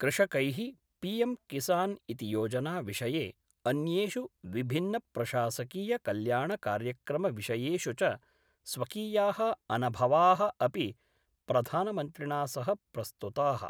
कृषकै: पीएम्किसान् इति योजना विषये अन्येषु विभिन्नप्रशासकीयकल्याणकार्यक्रमविषयेषु च स्वकीया: अनभवाः अपि प्रधानमन्त्रिणा सह प्रस्तुताः।